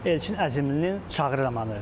Elçin Əzimlinin Çağrı romanı.